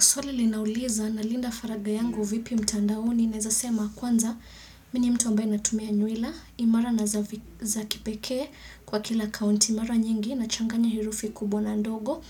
Swali linauliza nalinda faraga yangu vipi mtandaoni naezasema kwanza mimi ni mtu ambaye natumia nywila imara na za kipekee kwa kila kaunti mara nyingi nachanganya herufi kubwa na ndogo